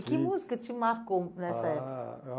E que música te marcou nessa época? Ah